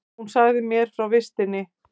Hún sagði mér frá vistinni.